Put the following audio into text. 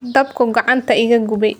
Dabkuu gacanta iga gubay.